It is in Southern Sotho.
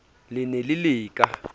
le ne le le ka